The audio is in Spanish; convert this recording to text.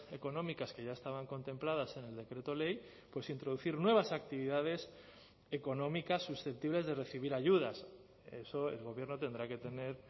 económicas que ya estaban contempladas en el decreto ley pues introducir nuevas actividades económicas susceptibles de recibir ayudas eso el gobierno tendrá que tener